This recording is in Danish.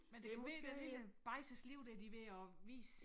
Men det kunne måske være lille bajses liv dér de ved at vise